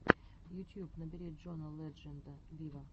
ютьюб набери джона ледженда виво